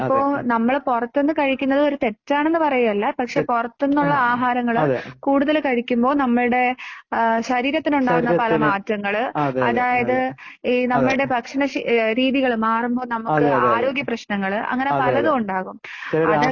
ഇപ്പൊ നമ്മള് പുറത്ത് നിന്ന്കഴിക്കുന്നത് ഒരു തെറ്റാണെന്ന് പറയുകയല്ലപക്ഷേ പുറത്തു നിന്നുള്ള ആഹാരങ്ങൾ കൂടുതൽ കഴിക്കുമ്പോൾ നമ്മളുടെ ശരീരത്തിനുണ്ടാവുന്ന പല മാറ്റങ്ങൾ അതായത് നമ്മുടെ ഭക്ഷണരീതികൾ മാറുമ്പോൾ നമുക്ക് ആരോഗ്യ പ്രശ് നങ്ങൾ അങ്ങനെ പലതുമുണ്ടാകും. അതൊക്കെ